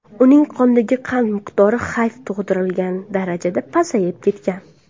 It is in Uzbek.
Uning qondagi qand miqdori xavf tug‘diradigan darajada pasayib ketgan.